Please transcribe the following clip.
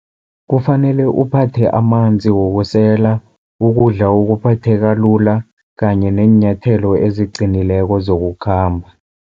Kufanele uphathe amanzi wokusela, ukudla okuphatheka lula kanye neenyathelo eziqinileko zokukhamba.